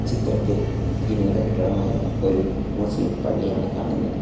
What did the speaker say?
ചിത്രത്തിൽ ഇരു നില കെട്ടിടമായ ഒരു മുസ്ലിം പള്ളിയാണ് കാണുന്നത്.